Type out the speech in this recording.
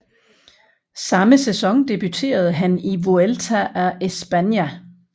Samme sæson debuterede han i Vuelta a España